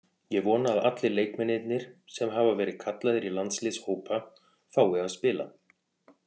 Ég vona að allir leikmennirnir sem hafa verið kallaðir í landsliðshópa fái að spila.